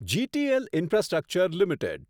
GTL infrastructure limited